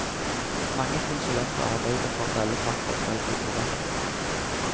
Mange konsulenter arbeider for at alle fakta skal blir korrekte.